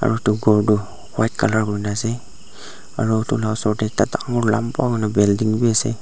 aru etu ghor tu white colour hoina ase aru etu lah oshor teh ekta dangor lamba hoina building bhi ase.